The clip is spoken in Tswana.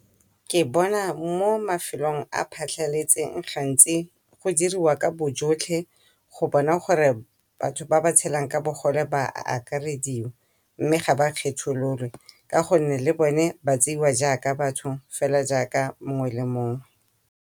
Ke bona mo mafelong a phatlhaletseng gantsi go diriwa ka bo jotlhe go bona gore batho ba ba tshelang ka bogole ba akarediwa, mme ga ba kgethololwe ka gonne le bone ba tseiwa jaaka batho hela jaaka mongwe le mongwe.